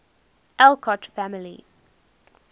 alcott family